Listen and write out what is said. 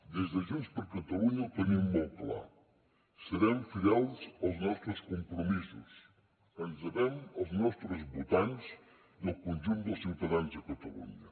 des de junts per catalunya ho tenim molt clar serem fidels als nostres compromisos ens devem als nostres votants i al conjunt dels ciutadans de catalunya